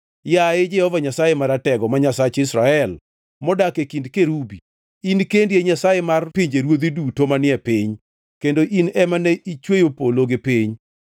Yaye Jehova Nyasaye Maratego, ma Nyasach Israel, modak e kind kerubi, in kendi e Nyasaye mar pinjeruodhi duto manie piny, kendo in ema ne ichweyo polo gi piny.